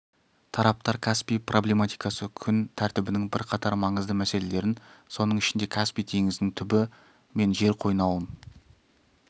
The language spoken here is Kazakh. тараптар каспий проблематикасы күн тәртібінің бірқатар маңызды мәселелерін соның ішінде каспий теңізінің түбі мен жер қойнауын